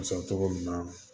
Sɔrɔ cogo ɲuman na